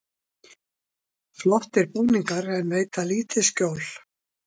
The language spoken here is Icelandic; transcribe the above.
Flottir búningar en veita lítið skjól